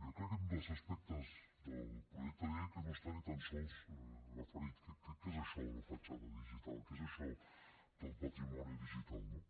jo crec que és un dels aspectes del projecte de llei que no està ni tan sols referit què és això de la petjada digital què és això del patrimoni digital no